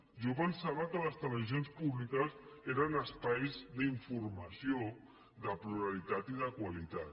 jo pensava que les televisions públiques eren espais d’informació de pluralitat i de qualitat